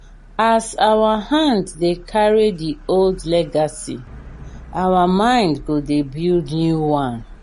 as our hand dey carry the old legacy our mind go dey build new one.